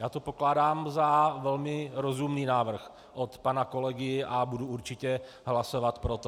Já to pokládám za velmi rozumný návrh od pana kolegy a budu určitě hlasovat pro to.